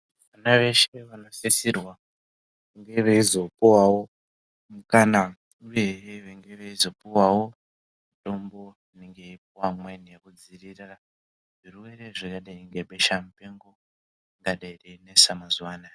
Vana veshe vanenge veizosisirwa kunge veizopuwawo mukana uyehe venge veizopuwawo mutombo pakudzivirirwa nebehsa mupengo rinenge reinesa mazuva ano.